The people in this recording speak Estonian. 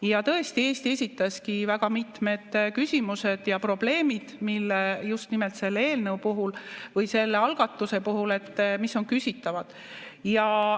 Ja tõesti, Eesti esitaski väga mitmed küsimused ja probleemid, mis just nimelt selle eelnõu puhul või selle algatuse puhul on küsitavad.